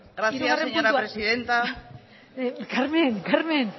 presidenta carmen carmen